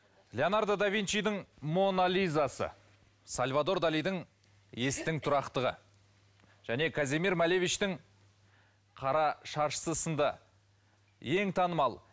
леонардо да винчидың моно лизасы сальвадор далидің естің тұрақтығы және казимир малевичтың қара шаршысы сынды ең танымал